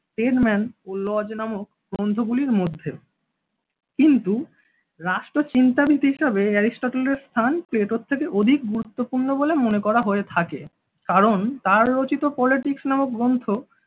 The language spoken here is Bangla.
স্টেন ম্যান লজ নামক গ্রন্থ গুলির মধ্যে কিন্তু রাষ্ট্রচিন্তাবিদ এরিস্টটলের স্থান প্লেটোর থেকে অধিক গুরুত্বপূর্ণ বলে মনে করা হয়ে থাকে। কারণ তাঁর রচিত পলিটিক্স নামক গ্রন্থ